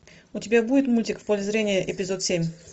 у тебя будет мультик в поле зрения эпизод семь